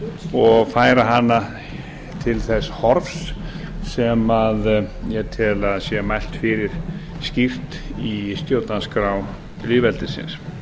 og færa hana til þess horfs sem ég tel að mælt fyrir skýrt í stjórnarskrá lýðveldisins